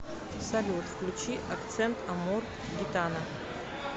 салют включи акцент амор гитана